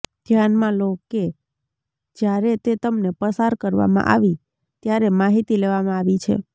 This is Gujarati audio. ધ્યાનમાં લો કે જ્યારે તે તમને પસાર કરવામાં આવી ત્યારે માહિતી લેવામાં આવી છે